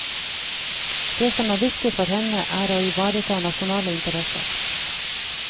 Det som er viktig for henne, er å ivareta nasjonale interesser.